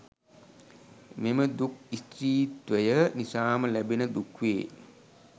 මෙම දුක් ස්ත්‍රීත්වය නිසාම ලැබෙන දුක් වේ.